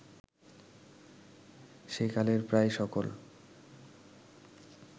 সেকালের প্রায় সকল